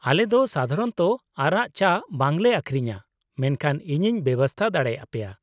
ᱟᱞᱮ ᱫᱚ ᱥᱟᱫᱷᱟᱨᱚᱱᱚᱛᱚ ᱟᱨᱟᱜ ᱪᱟ ᱵᱟᱝ ᱞᱮ ᱟᱹᱠᱷᱨᱤᱧᱟ, ᱢᱮᱱᱠᱷᱟᱱ ᱤᱧᱤᱧ ᱵᱮᱵᱚᱥᱛᱟ ᱫᱟᱲᱮ ᱟᱯᱮᱭᱟ ᱾